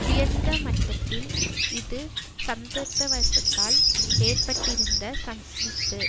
உயர்ந்த மட்டத்தில் இது சந்தர்ப்பவசத்தால் ஏற்பட்டிருந்த சந்திப்பு